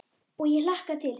Og ég hlakka til.